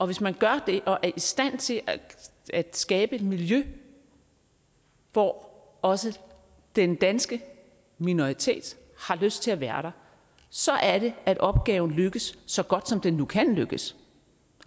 hvis man gør det og er i stand til at skabe et miljø hvor også den danske minoritet har lyst til at være der så er det at opgaven lykkes så godt som den nu kan lykkes